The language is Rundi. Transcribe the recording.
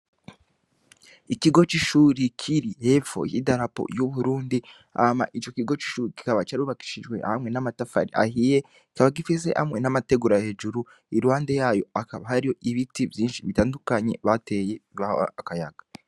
Ikigo cishuri kiri hepfo yi darapo y'uburundi ama ico kigo c'ishuri kikaba carubakishijwe hamwe n'amatafari ahihe kaba gifise hamwe n'amategurua hejuru irwande yayo akaba hari ibiti vyinshi bitandukanyi bateye baho akayaga.